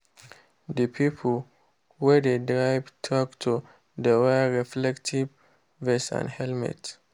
the people wey dey drive tractor dey wear reflective vest and helmet.